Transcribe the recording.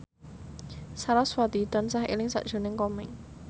sarasvati tansah eling sakjroning Komeng